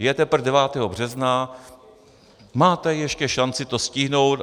Je teprve 9. března, máte ještě šanci to stihnout.